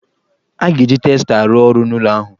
A ga-eji testa arụ ọrụ n'ụlọ ahụ.